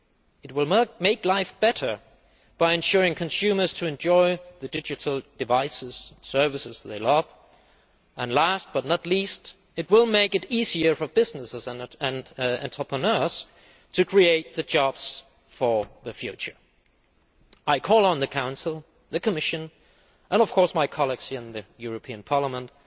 It will make life better by enabling consumers to enjoy the digital devices and services that they love. Last but not least, it will make it easier for businesses and entrepreneurs to create jobs for the future. I call on the Council, the Commission, and of course my colleagues here in the European Parliament,